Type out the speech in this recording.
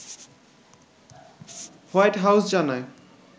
white House জানায়